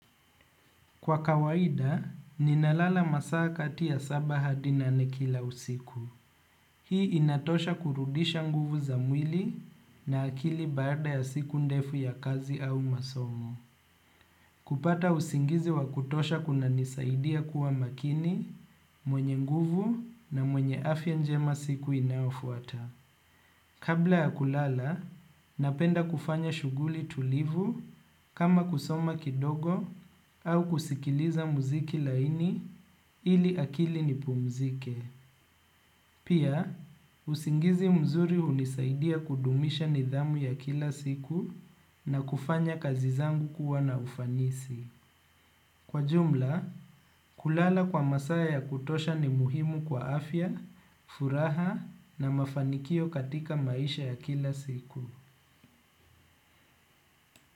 Kwa kawaida, ninalala masaa kati ya saba hatdi nane kila usiku. Hii inatosha kurudisha nguvu za mwili na akili baada ya siku ndefu ya kazi au masomo. Kupata usingizi wa kutosha kuna nisaidia kuwa makini, mwenye nguvu na mwenye afya njema siku inayofuata. Kabla ya kulala, napenda kufanya shuguli tulivu kama kusoma kidogo au kusikiliza muziki laini ili akili ni pumzike. Pia usingizi mzuri hunisidia kudumisha nidhamu ya kila siku na kufanya kazi zangu kuwa na ufanisi. Kwa jumla, kulala kwa masaya ya kutosha ni muhimu kwa afya, furaha na mafanikio katika maisha ya kila siku.